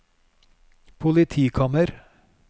politikammer